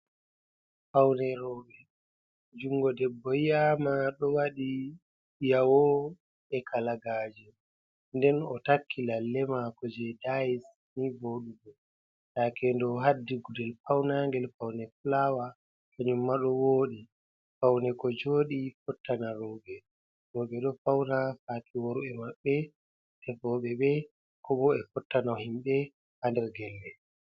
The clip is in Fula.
Fawne rooɓe, junngo debbo yi'ama ɗo waɗi jawo e kalagaaje, nden o takki lalle maako jey dayis ni vooɗugo, takendo haddi gudel pawnaangel fawne fulaawa, kanjumma ɗo wooɗi, pawne ko jooɗi fottana rooɓe, rooɓe ɗo fawna ngam worɓe maɓɓe tefooɓe ɓe koobo fottana himbe haa nder gelle.